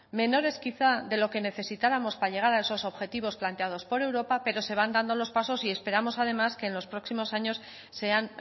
menores quizás de los que necesitáramos para llegar a esos objetivos planteados por europa pero se van dando los pasos y esperamos además que en los próximos años sean